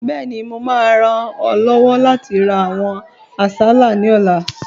Bẹ́ẹ̀ni, mo máa ràn ọ́ lọ́wọ́ láti ra àwọn àsálà ní ọ̀la